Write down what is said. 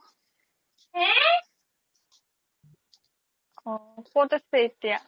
অ ক্'ত আছে এতিয়া ?